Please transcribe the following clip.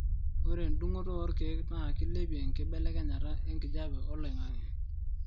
ore endungoto oorkiek na kilepie enkibelekenya enkijape oloingangi